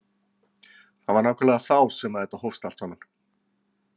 Það var nákvæmlega þá sem þetta hófst allt saman.